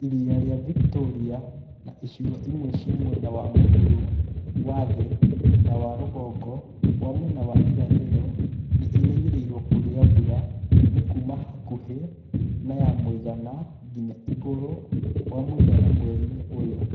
Iria rĩa Victoria na icigo imwe cia mwena wa mũhuro wa thĩ na wa rũgongo wa mwena wa irathĩro nĩ irerĩgĩrĩirũo kũgĩa mbura. Nĩ kuuma hakuhĩ na ya mũigana nginya igũrũ wa mũigana mweri-inĩ ũyũ.